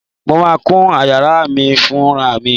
Mo máa kún yàrá mi fúnra mi.